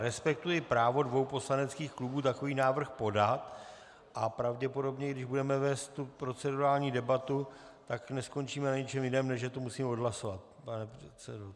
Respektuji právo dvou poslaneckých klubů takový návrh podat a pravděpodobně, když budeme vést tu procedurální debatu, tak neskončíme na ničem jiném, než že to musíme odhlasovat, pane předsedo.